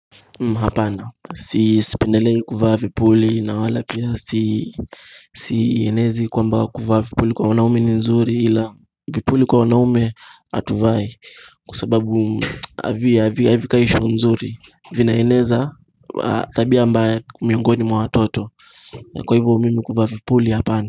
Hapana sipendeli kuvaa vipuli na wala pia si sienezi kwamba kuvaa vipuli kwa wanaume ni nzuri ila vipuli kwa wanaume atuvai kwa sababu avikai show nzuri vinaeneza tabia ambaye miongoni mwa watoto kwa hivyo mimi kuvaa vipuli hapana.